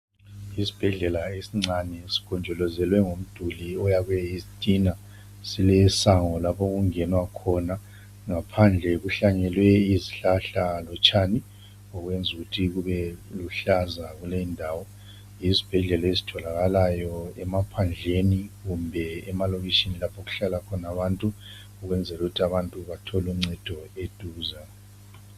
Isibhedlela esincane sigonjolozelwe ngomduli oyakhwe yizitina. Silesango lapho okungenwa khona ngaphandle kuhlanyelwe izihlahla lotshani okwenza ukuthi kube luhlaza kulendawo. Yizibhedlela ezitholakala emaphandleni kumbe emalokitshini lapho okuhlala khona abantu ukwenzela ukuthi abantu bathole uncedo eduze.